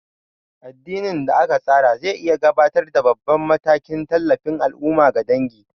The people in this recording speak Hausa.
Addinin da aka tsara zai iya gabatar da babban matakin tallafin al'umma ga dangi.